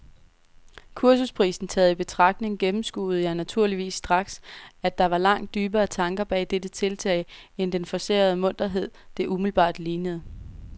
Kursusprisen taget i betragtning gennemskuede jeg naturligvis straks, at der var langt dybere tanker bag dette tiltag end den forcerede munterhed, det umiddelbart lignede.